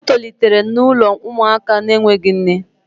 O tolitere n'ụlọ ụmụaka na-enweghị nne